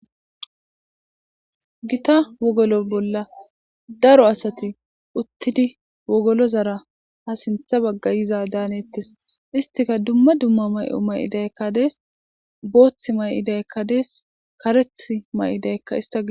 gita wogolo bolla daro asati uttidi wogolozara ha sintha bagga yiza daanettes istika dumma dumma may7o may7idaykka dees booththi may7idayekka dees karetha may7idayekka ista gi.